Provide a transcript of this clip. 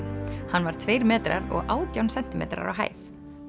hann var tveir metrar og átján sentímetrar á hæð langþekktastur